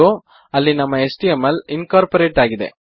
ಅಗೋ ಅಲ್ಲಿ ನಮ್ಮ HTML incorporate ಆಗಿದೆ